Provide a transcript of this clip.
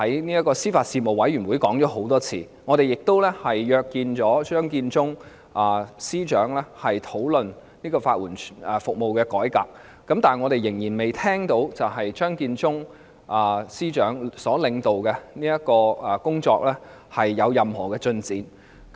我們在司法事務委員會已多次進行討論，亦曾約見張建宗司長討論法援服務的改革，但我們仍然未聽到由張建宗司長領導的工作有任何進展。